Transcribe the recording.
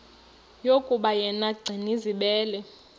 yokuba yena gcinizibele